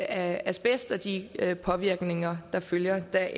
af asbest og de påvirkninger der følger deraf